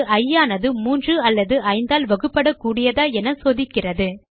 இது இ ஆனது 3 அல்லது 5 ஆல் வகுப்பட கூடியதா என சோதிக்கிறது